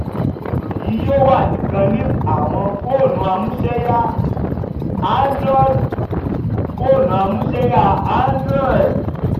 ohun elo yii yoo wa nikan ni awọn foonu amuseya android. foonu amuseya android.